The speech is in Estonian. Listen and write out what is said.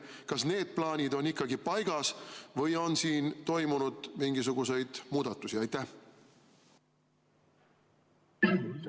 Kas need plaanid on paigas või on siin toimunud mingisuguseid muudatusi?